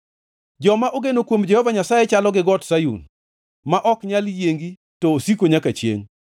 Joma ogeno kuom Jehova Nyasaye chalo gi Got Sayun, ma ok nyal yiengi to osiko nyaka chiengʼ.